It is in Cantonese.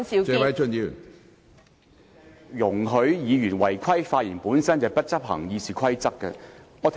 主席，容許委員違規發言，本身便是未有執行《議事規則》。